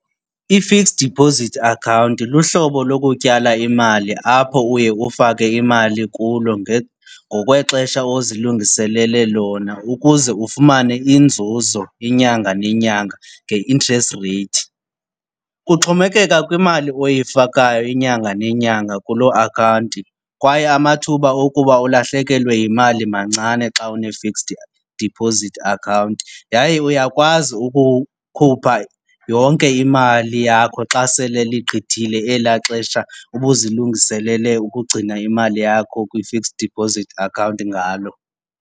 I-fixed deposit account luhlobo lokutyala imali apho uye ufake imali kulo ngokwexesha ozilungiselele lona ukuze ufumane inzuzo inyanga nenyanga nge-interest rate. Kuxhomekeka kwimali oyifakayo inyanga nenyanga kuloo akhawunti kwaye amathuba okuba ulahlekelwe yimali mancane xa une-fixed deposit account. Yaye uya uyakwazi ukukhupha yonke imali yakho xa sele ligqithile elaa xesha ubuzilungiselele ukugcina imali yakho kwi-fixed deposit account ngalo.